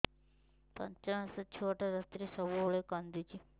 ପାଞ୍ଚ ମାସ ଛୁଆଟା ରାତିରେ ସବୁବେଳେ କାନ୍ଦୁଚି